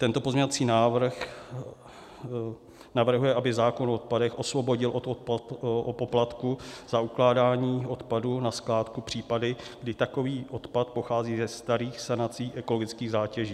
Tento pozměňovací návrh navrhuje, aby zákon o odpadech osvobodil od poplatků za ukládání odpadu na skládku případy, kdy takový odpad pochází ze starých sanací ekologických zátěží.